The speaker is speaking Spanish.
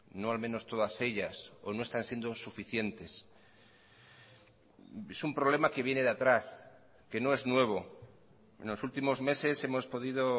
no al menos todas ellas o no están siendo suficientes es un problema que viene de atrás que no es nuevo en los últimos meses hemos podido